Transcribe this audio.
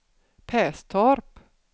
Perstorp